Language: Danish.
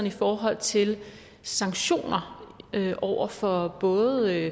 i forhold til sanktioner over for både